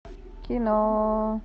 кино